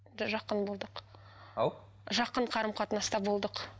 жақын болдық ау жақын қарым қатынаста болдық